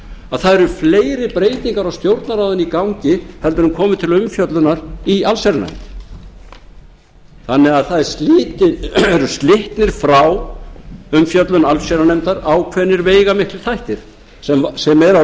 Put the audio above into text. að það eru fleiri breytingar á stjórnarráðinu í gangi heldur en kom til umfjöllunar í allsherjarnefnd þannig er það eru slitnir frá umfjöllun allsherjarnefndar ákveðnir veigamiklir þættir sem eru